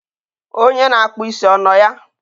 Onye na-akpụ isi ọ nọ ya?